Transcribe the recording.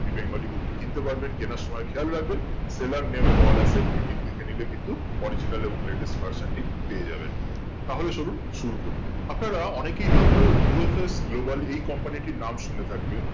আপনি bangali book টা কিনতে পারবেন কিনার সময় খেয়াল করবেন seller name poul ethics এটি দেখে নিলে কিন্তু original এবং latest version টি পেয়ে যাবে তাহলে চলুন শুরু করি আপনারা অনেকেই হয়তো VFS Global এই company টির নাম শুনে থাকবেন